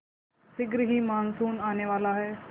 शीघ्र ही मानसून आने वाला है